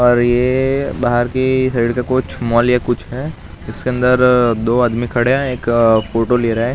और ये बाहर की कुछ मॉल कुछ है इसके अंदर दो आदमी खड़े हैं एक फोटो ले रहा--